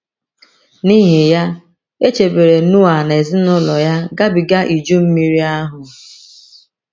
N’ihi ya, e chebere Noa na ezinụlọ ya gabiga Iju Mmiri ahụ.